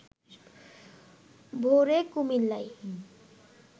ভোরে কুমিল্লায়